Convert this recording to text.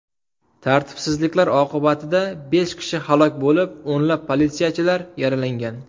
Tartibsizliklar oqibatida besh kishi halok bo‘lib, o‘nlab politsiyachilar yaralangan .